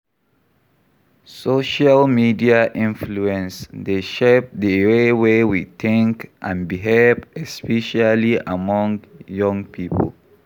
Social media influence dey shape di way wey we think and behave, especially among young people.